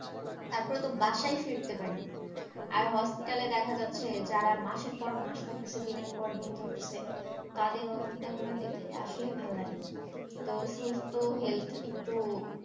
তারপরে তো বাসায় ফিরতে পারি, আর hospital এ দেখা যাচ্ছে যারা মাসের পর মাস থাকতেছে দিনের পর দিন থাকতেছে, তাদের অবস্থা গুলা দেখলে আসলে ভালো লাগে না, তো সুস্থ health একটু,